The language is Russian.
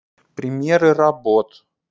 премьеры работ